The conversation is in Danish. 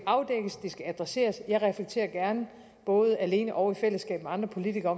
skal adresseres og jeg reflekterer gerne både alene og i fællesskab med andre politikere